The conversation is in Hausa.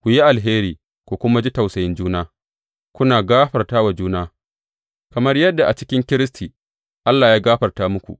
Ku yi alheri, ku kuma ji tausayin juna, kuna gafarta wa juna, kamar yadda a cikin Kiristi, Allah ya gafarta muku.